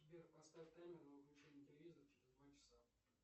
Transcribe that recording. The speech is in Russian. сбер поставь таймер на выключение телевизора через два часа